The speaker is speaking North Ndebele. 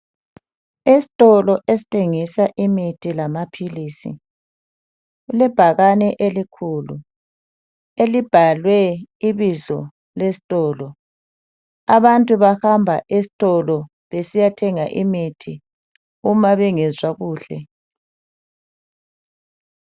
Esitolo esithengisa imithi lamaphilisi kulebhakane elikhulu elibhalwe ibizo lesitolo abantu bahamba esitolo besiyathenga imithi uma bengezwa kuhle.